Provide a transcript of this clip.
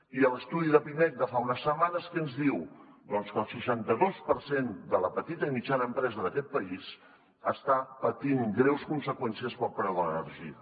i l’estudi de pimec de fa unes setmanes què ens diu doncs que el seixanta dos per cent de la petita i mitjana empresa d’aquest país està patint greus conseqüències pel preu de l’energia